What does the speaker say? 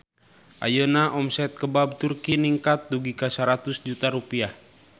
Ayeuna omset Kebab Turki ningkat dugi ka 100 juta rupiah